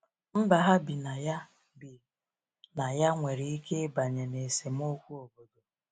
Mba ha bi na ya bi na ya nwere ike ịbanye n’esemokwu obodo.